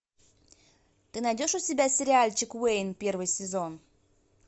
ты найдешь у себя сериальчик уэйн первый сезон